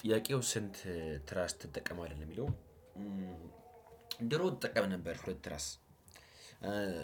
ጥያቄው ስንት ትራስ ትጠቀማለህ የሚለው? ድሮ እጠቀም ነበር ሁለት ትራስ ትረስ